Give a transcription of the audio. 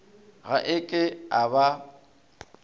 ga e ke e ba